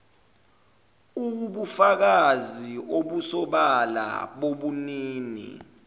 uwubufakazi obusobala bobunini